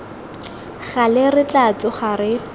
gale re tla tsoga re